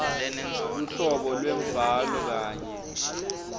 luhlobo lwembhalo kanye